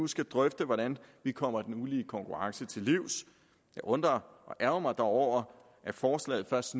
skal drøfte hvordan vi kommer den ulige konkurrence til livs jeg undrer og ærgrer mig dog over at forslaget først